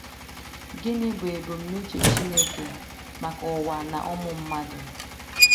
Gịnị bụ ebumnuche Chineke maka ụwa na ụmụ mmadụ?